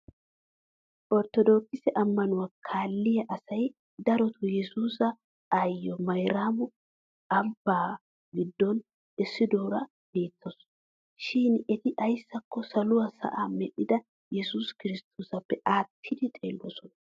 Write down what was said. Orttodookise ammanuwa kalliyaa asay darotoo yesuusa ayyiya mayraamo ambbaa giddon essidoora beettawusu. Shin eti ayssakko saluwaa sa'aa medhdhida yesuusi kirsttoosappe aattidi xeelloosona.